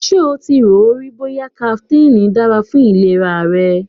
Ever wondered if caffeine is good for your health?